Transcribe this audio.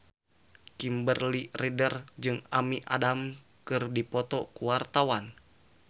Kimberly Ryder jeung Amy Adams keur dipoto ku wartawan